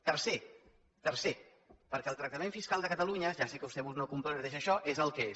tercer perquè el tractament fiscal de catalunya ja sé que vostè no comparteix això és el que és